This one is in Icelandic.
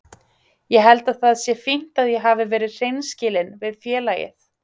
Ég held að það sé fínt að ég hafi verið hreinskilinn við félagið.